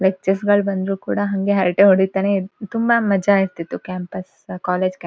ಲಕ್ಚರ್ಸ್ಗಳ್ ಬಂದ್ರು ಕೂಡ ಹಂಗೆ ಹರಟೆ ಹೊಡೀತಾನೆ ಇರ್ ತುಂಬಾ ಮಜಾ ಇರ್ತಿತ್ತು ಕ್ಯಾಂಪಸ್ ಕಾಲೇಜ್ ಕ್ಯಾಂ --